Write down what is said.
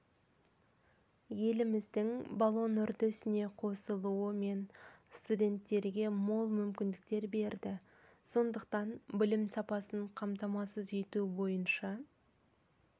еліміздің болон үрдісіне қосылуы мен студенттерге мол мүмкіндіктер берді сондықтан білім сапасын қамтамасыз ету бойынша